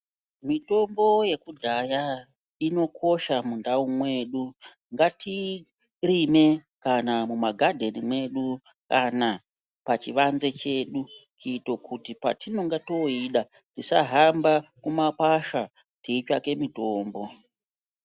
Mitombo yekudhaya inokosha mundau mwedu ngatiirime kana mumagadheni mwedu kana pachivanze chedu kuito kuti patinonga toida tisahamba kumwakwasha teitsvake mitombo.